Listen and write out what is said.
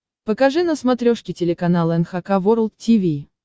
покажи на смотрешке телеканал эн эйч кей волд ти ви